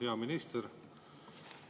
Hea minister!